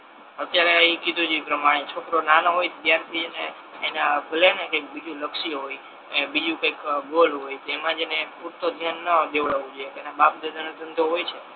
અત્યારે કીધુ એ પ્રમાણે છોકરો નાનો હોય ત્યારથી એને ભલે ને કઈ બીજુ લક્ષ્ય હોય એને બીજુ કઈ ગોલ હોય તો એમા જ એને પૂરતો ધ્યાન ન દેવડવો જોઈએ એના બાપ દાદા નો ધંધો હોય છે